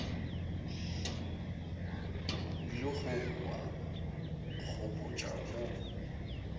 o ilego wa nkgopotša wo